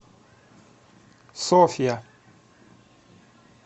софья